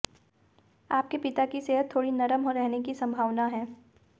आपके पिता की सेहत थोड़ी नरम रहने की संभावना है